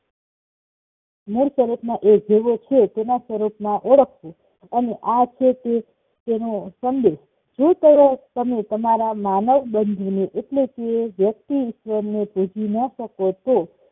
મૂળ સ્વરૂપમાં એજેવો છે તેના સ્વરૂપમાં ઓળખવો અને આ છે તે તેનો સંદેશ શું કરો તમે તમારા માનવ બનીને એટલે કે વ્યક્તિ ઈશ્વર ને પહોંચી ન શક તો